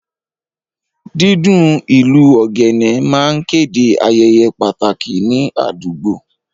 Dídún ìlù ogene máa ń kéde ayẹyẹ pàtàkì ní àdúgbò